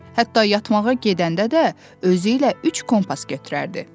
Hətta yatmağa gedəndə də özü ilə üç kompas götürərdi.